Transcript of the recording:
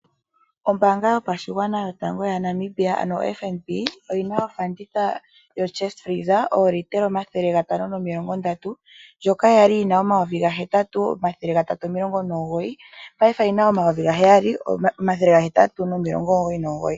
Ombaanga yopashigwana yotango yaNamibia ano oFNB, oyi na ofanditha yokila yokutalaleka yoo litela 530, ndjoka ya li yi na 8399 paife oyi na 7899.